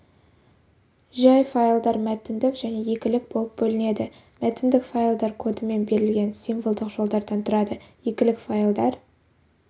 жай файлдар мәтіндік және екілік болып бөлінеді мәтіндік файлдар кодымен берілген символдық жолдардан тұрады екілік файлдар